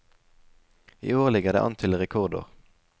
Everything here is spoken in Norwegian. I år ligger det an til rekordår.